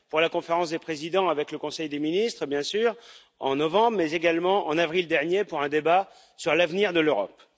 Pour la Conférence des présidents avec le Conseil des ministres, bien sûr, en novembre, mais également en avril dernier pour un débat sur l'avenir de l'Europe.